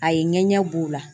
A ye ŋɛɲɛ b'u la.